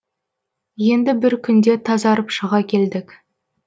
енді бір күнде тазарып шыға келдік